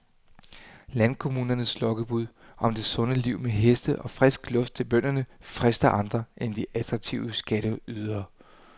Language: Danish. Landkommunernes lokkebud om det sunde liv med heste og frisk luft til børnene frister andre end de attraktive skatteydere.